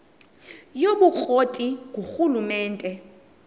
yobukro ti ngurhulumente